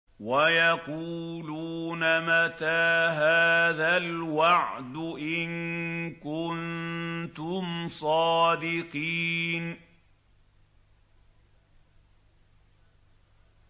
وَيَقُولُونَ مَتَىٰ هَٰذَا الْوَعْدُ إِن كُنتُمْ صَادِقِينَ